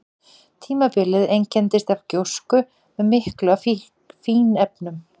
Tímabilið einkenndist af gjósku með miklu af fínefnum.